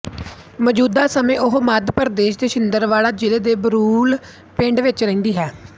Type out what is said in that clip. ਮੌਜੂਦਾ ਸਮੇਂ ਉਹ ਮੱਧ ਪ੍ਰਦੇਸ਼ ਦੇ ਛਿੰਦਵਾੜਾ ਜ਼ਿਲ੍ਹੇ ਦੇ ਬੁਰੂਲ ਪਿੰਡ ਵਿੱਚ ਰਹਿੰਦੀ ਹੈ